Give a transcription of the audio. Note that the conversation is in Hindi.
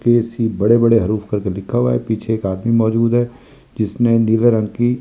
पीछे एक आदमी मौजूद है जिसने नील रंग की।